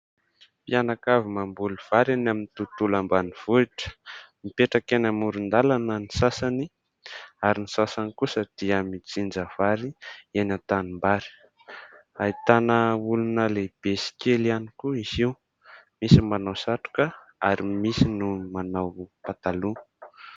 Mpianakavy mamboly vary eny amin'ny tontolo ambanivohitra, mipetraka eny amoron-dalana ny sasany ary ny sasany kosa dia mijinja vary eny an-tanimbary. Ahitana olona lehibe sy kely ihany koa izy io : misy manao satroka ary misy ny manao pataloha.